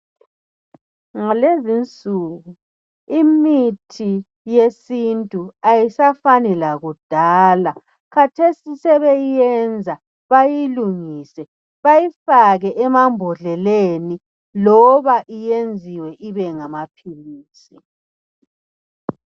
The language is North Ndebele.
Ngalezinsuku imithi yesiNtu ayisafani lakudala kathesi sebeyenza bayilungise bayifake emambodleleni loba yenziwe ibe ngamaphilisi.